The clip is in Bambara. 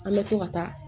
An bɛ to ka taa